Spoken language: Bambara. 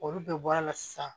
Olu bɛɛ bɔra a la sisan